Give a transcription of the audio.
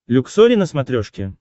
люксори на смотрешке